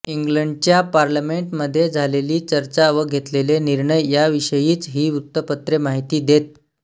इंग्लंडच्या पार्लमेंटमध्ये झालेली चर्चा व घेतलेले निर्णय याविषयीच ही वृत्तपत्रे माहिती देत